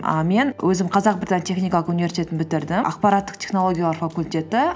і мен өзім қазақ британ техникалық университетін бітірдім ақпараттық технологиялар факультеті